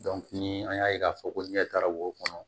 ni an y'a ye k'a fɔ ko ɲɛtaga b'o kɔnɔ